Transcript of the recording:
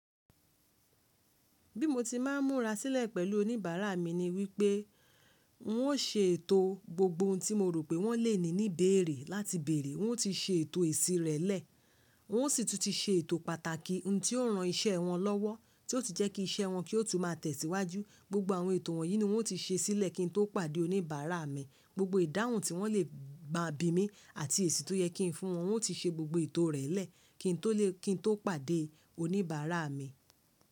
Bí mo ti máa ń múra sílẹ̀ pẹ̀lú oníbàárà mi ni wípé un ó ṣe ètò gbogbo ohun tí mo rò pé wọ́n lè ní ní beẹ̀rẹ̀ láti bẹ̀rẹ̀, wọn ó ti ṣe ètò eṣi rẹ̀ lẹ̀, un o sì tún ti ṣe ètò pàtàkì ohun tí ó ran iṣẹ́ wọn lọ́wọ́ tí ó sì jẹ́ kí iṣẹ́ wọn kí ó tún máa tẹ̀síwájú. Gbogbo àwọn ètò wọ̀nyí ni wọ́n ti ṣe sílẹ̀ kí n tó pàdé oníbàárà mi. Gbogbo ìdáhùn tí wọ́n lè ma bí mi àti èsì tó yẹ kí n fún wọn, un ti ṣe gbogbo ètò rẹ̀ lẹ̀ kí n tó lè, kí n tó pàdé oníbàárà mi.